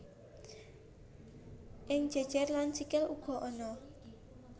Ing geger lan sikil uga ana